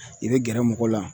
I be gɛrɛ mɔgɔw la